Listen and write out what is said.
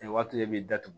O waati de b'i datugu